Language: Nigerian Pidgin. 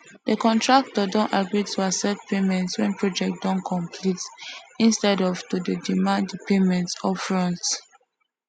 de contractor don agree to accept payment wen project don complete instead of to dey demand de payment upfront